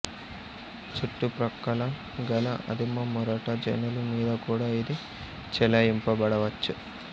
చుట్టుప్రక్కల గల ఆదిమమొరట జనులు మీద కూడా ఇది చెలాయింపబడవచ్చు